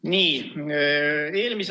Austatud juhataja!